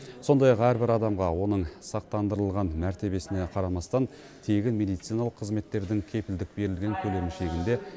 сондай ақ әрбір адамға оның сақтандырылған мәртебесіне қарамастан тегін медициналық қызметтердің кепілдік берілген көлемі шегінде